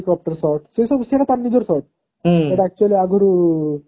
helicopter shots ସେ ସବୁ ତାର ନିଜର shorts ସେଟ actually ଆଗରୁ